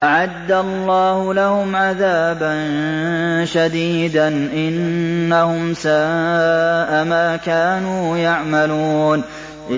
أَعَدَّ اللَّهُ لَهُمْ عَذَابًا شَدِيدًا ۖ إِنَّهُمْ سَاءَ مَا كَانُوا يَعْمَلُونَ